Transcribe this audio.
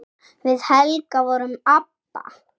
Við Helga vorum ABBA.